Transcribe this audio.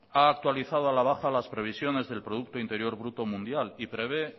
ha actualizado a la baja las previsiones del producto interior bruto mundial y prevé